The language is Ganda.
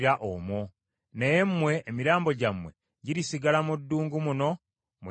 Naye mmwe, emirambo gyammwe girisigala mu ddungu muno mwe girigwa.